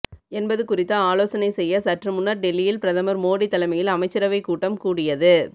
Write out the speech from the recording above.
என்பது குறித்த ஆலோசனை செய்ய சற்று முன்னர் டெல்லியில் பிரதமர் மோடி தலைமையில் அமைச்சரவை கூட்டம் கூடியது